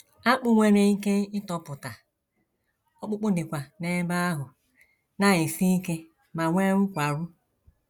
Akpụ̀ nwere ike itopụta, ọkpụkpụ dịkwa n’ebe ahụ na - esi ike ma nwee nkwarụ.